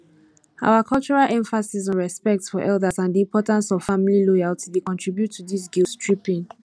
our cultural emphasis on respect for elders and di importance of family loyalty dey contribute to dis guilttripping